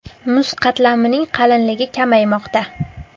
Muz qatlamining qalinligi kamaymoqda.